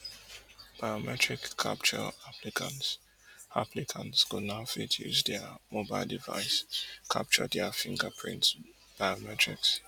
biometric capture applicants applicants go now fit use dia mobile device to capture dia fingerprint biometrics